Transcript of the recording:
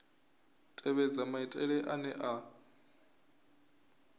u tevhedza maitele ane a